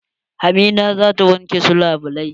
Hamida za ta wanke su labulai.